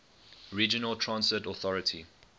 regional transit authority